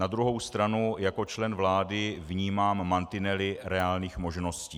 Na druhou stranu jako člen vlády vnímám mantinely reálných možností.